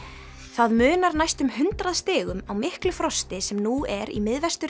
það munar næstum hundrað stigum á miklu frosti sem nú er í